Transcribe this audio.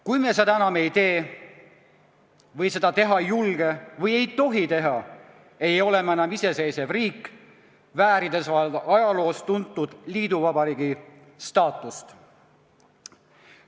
Kui me seda enam ei tee või seda teha ei julge või ei tohi, ei ole me enam iseseisev riik, väärides vaid ajaloost tuntud liiduvabariigi staatust.